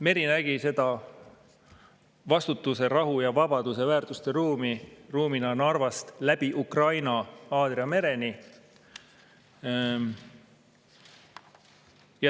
" Meri nägi seda vastutuse, rahu ja vabaduse väärtuste ruumi Narvast läbi Ukraina ja Aadria mereni.